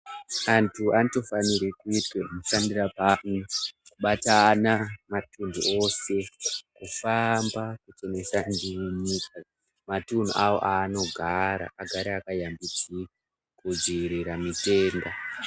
Antu anotofanira kuitwe mushandira pamwe kubatana matuntu ose kufamba kuchenesa matunhu awo awanogara agare akashambidzika kudzivirira mitenda .